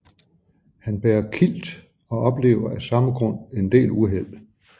Han bærer kilt og oplever af samme grund en del uheld